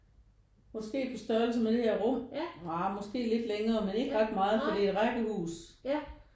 Måske på størrelse med det her rum nja måske lidt længere men ikke ret meget for det er rækkehus